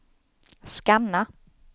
scanna